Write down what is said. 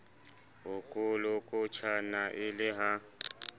ho kolokotjhana e le ha